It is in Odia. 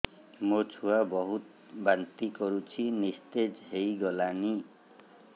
ମୋ ଛୁଆ ବହୁତ୍ ବାନ୍ତି କରୁଛି ନିସ୍ତେଜ ହେଇ ଗଲାନି